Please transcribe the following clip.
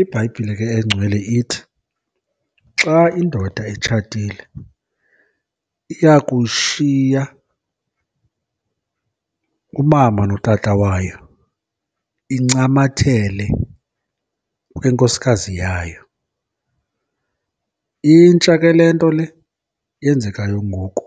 IBhayibhile ke eNgcwele ithi, xa indoda itshatile iya kushiya umama notata wayo incamathele kwinkosikazi yayo. Intsha ke le nto le yenzekayo ngoku